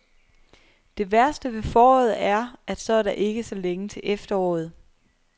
Det værste ved foråret er, at så er der ikke så længe til efteråret.